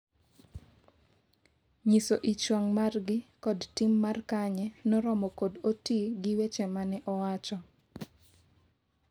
nyiso ich wang' margi kod tim mar Kanye no romo kod Otii gi weche mane owacho